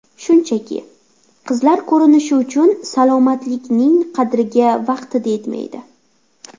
Shunchaki, qizlar ko‘rinishi uchun salomatlikning qadriga vaqtida yetmaydi.